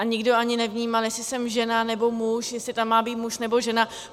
A nikdo ani nevnímal, jestli jsem žena, nebo muž, jestli tam má být muž, nebo žena.